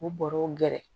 U bɔrɛw gɛrɛ